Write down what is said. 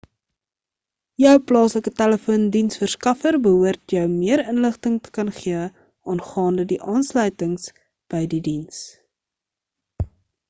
jou plaaslike telefoon-diensverskaffer behoort jou meer inligting te kan gee aangaande die aansluiting by die diens